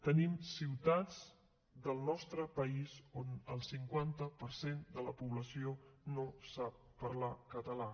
tenim ciutats del nostre país on el cinquanta per cent de la població no sap parlar català